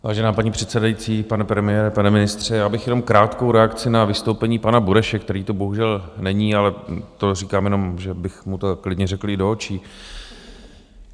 Vážená paní předsedající, pane premiére, pane ministře, já bych jenom krátkou reakci na vystoupení pana Bureše, který tu bohužel není, ale to říkám jenom, že bych mu to klidně řekl i do očí.